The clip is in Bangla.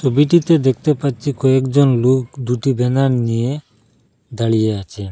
ছবিটিতে দেখতে পাচ্ছি কয়েকজন লোক দুটি ব্যানার নিয়ে দাঁড়িয়ে আছে।